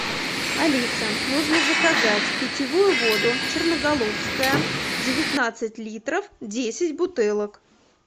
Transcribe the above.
алиса нужно заказать питьевую воду черноголовская девятнадцать литров десять бутылок